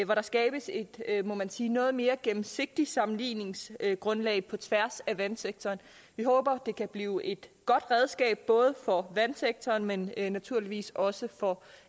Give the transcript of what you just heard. hvor der skabes et må man sige noget mere gennemsigtigt sammenligningsgrundlag på tværs af vandsektoren vi håber det kan blive et godt redskab både for vandsektoren men naturligvis også for